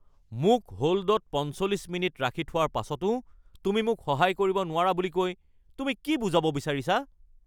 মোক হ'ল্ডত ৪৫ মিনিট ৰাখি থোৱাৰ পাছতো তুমি মোক সহায় কৰিব নোৱাৰা বুলি কৈ তুমি কি বুজাব বিচাৰিছা?